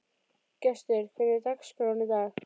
Gestur, hvernig er dagskráin í dag?